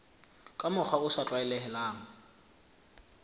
ka mokgwa o sa tlwaelehang